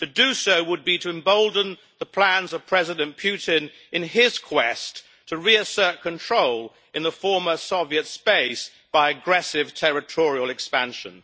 To do so would be to embolden the plans of President Putin in his quest to reassert control in the former Soviet space by aggressive territorial expansion.